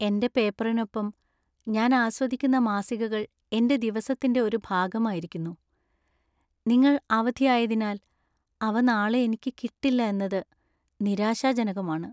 എന്‍റെ പേപ്പറിനൊപ്പം ഞാൻ ആസ്വദിക്കുന്ന മാസികകൾ എന്‍റെ ദിവസത്തിന്‍റെ ഒരു ഭാഗമായിരിക്കുന്നു. നിങ്ങൾ അവധിയായതിനാൽ അവ നാളെ എനിക്ക് കിട്ടില്ല എന്നത് നിരാശാജനകമാണ്.